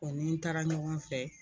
O ni n taara ɲɔgɔn fɛ.